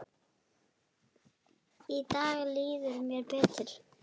Í dag líður mér betur.